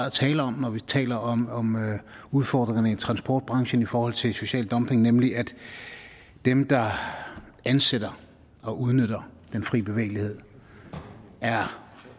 at tale om når vi taler om om udfordringerne i transportbranchen i forhold til social dumping nemlig at dem der ansætter og udnytter den fri bevægelighed er